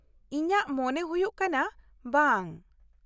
- ᱤᱧᱟᱹᱜ ᱢᱚᱱᱮ ᱦᱩᱭᱩᱜ ᱠᱟᱱᱟ ᱵᱟᱝ ᱾